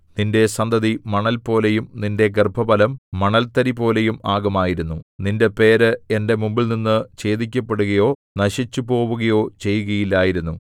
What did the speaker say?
നിന്റെ സന്തതി മണൽപോലെയും നിന്റെ ഗർഭഫലം മണൽതരിപോലെയും ആകുമായിരുന്നു നിന്റെ പേര് എന്റെ മുമ്പിൽനിന്നു ഛേദിക്കപ്പെടുകയോ നശിച്ചുപോവുകയോ ചെയ്യുകയില്ലായിരുന്നു